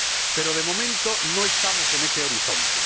Pero, de momento, no estamos en ese horizonte.